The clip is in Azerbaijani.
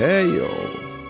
Ey, oğul.